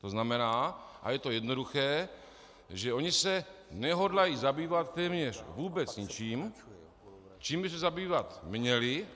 To znamená, a je to jednoduché, že oni se nehodlají zabývat téměř vůbec ničím, čím by se zabývat měli.